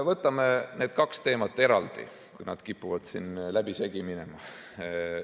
Võtame need kaks teemat eraldi, kui nad kipuvad siin läbisegi minema.